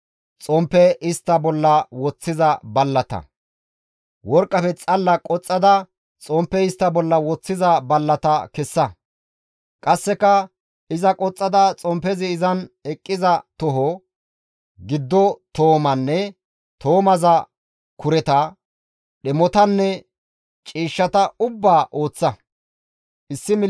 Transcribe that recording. «Worqqafe xalla qoxxada xomppe istta bolla woththiza ballata kessa; qasseka iza qoxxada xomppezi izan eqqiza toho, giddo toomanne toomaza kureta, dhemotanne ciishshata ubbaa ooththa. Xomppe istta bolla woththiza laappun ballata